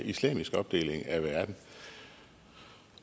islamisk opdeling af verden